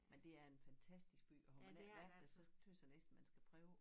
Men det er en fantastisk by og har man ikke været der så tøs jeg næsten man skal prøve